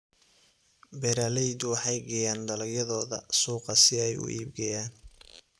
Beeraleydu waxay geeyaan dalagyadooda suuqa si ay u iibgeeyaan.